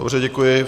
Dobře, děkuji.